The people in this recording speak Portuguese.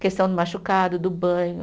Questão do machucado, do banho.